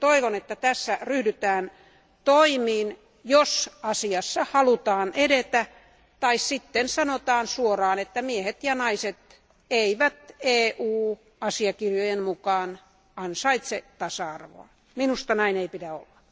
Toivon myös, että tässä ryhdytään toimiin, jos asiassa halutaan edetä, tai sitten sanotaan suoraan, että miehet ja naiset eivät EU asiakirjojen mukaan ansaitse tasa arvoa. Minusta näin ei pidä olla.